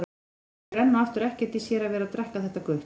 Hún skilur enn og aftur ekkert í sér að vera að drekka þetta gutl.